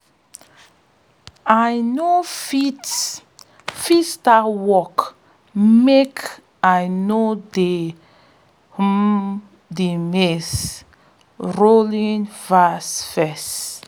i no fit fit start work makei no dey hum de maize-rowing verse first